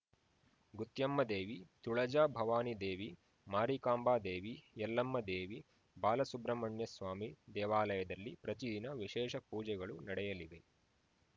ಗುತ್ಯಮ್ಮದೇವಿ ತುಳಜಾಭವಾನಿದೇವಿ ಮಾರಿಕಾಂಬಾದೇವಿ ಯಲ್ಲಮ್ಮದೇವಿ ಬಾಲಸುಬ್ರಮಣ್ಯಸ್ವಾಮಿ ದೇವಾಲಯದಲ್ಲಿ ಪ್ರತಿದಿನ ವಿಶೇಷ ಪೂಜೆಗಳು ನಡೆಯಲಿವೆ